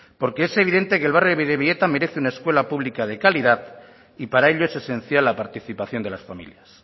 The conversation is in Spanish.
porque es evidente que el barrio de bidebieta merece una escuela pública de calidad y para ello es esencial la participación de las familias